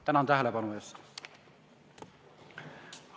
Tänan tähelepanu eest!